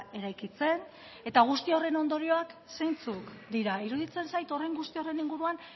eraikitzen guzti horren ondorioak zeintzuk dira iruditzen zait horren guztiaren inguruan